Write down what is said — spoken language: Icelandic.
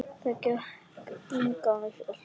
Það gat enginn hjálpað mér.